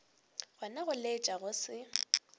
gona go laetša go se